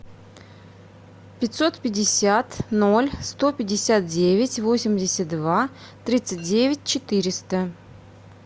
пятьсот пятьдесят ноль сто пятьдесят девять восемьдесят два тридцать девять четыреста